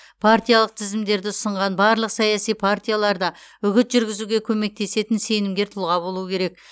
партиялық тізімдерді ұсынған барлық саяси партияларда үгіт жүргізуге көмектесетін сенімгер тұлға болуы керек